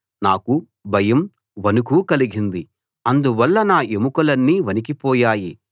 నాకు భయం వణుకు కలిగింది అందువల్ల నా ఎముకలన్నీ వణికిపోయాయి